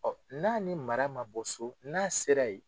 Ɔ n'a ni mara ma bɔ so, n'a sera yen